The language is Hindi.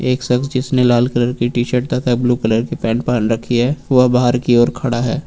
एक शख्स जिसने लाल कलर की टी-शर्ट तथा ब्लू कलर की पैंट पहन रखी है वह बाहर की ओर खड़ा है।